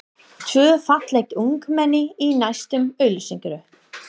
Tvö falleg ungmenni í næstu auglýsingu.